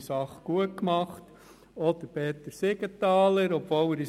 Danke, Adrian Haas, Sie haben mir das Votum eigentlich schon abgelesen.